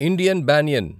Indian banyan